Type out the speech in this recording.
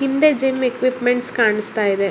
ಹಿಂದೆ gym equipment ಕಾಣಸ್ತಾಇದೆ.